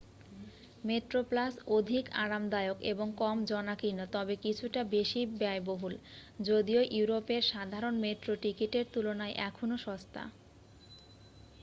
Metroplus অধিক আরামদায়ক এবং কম জনাকীর্ণ তবে কিছুটা বেশি ব্যয়বহুল যদিও ইউরোপের সাধারণ মেট্রো টিকিটের তুলনায় এখনও সস্তা